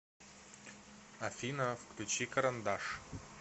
афина включи карандаш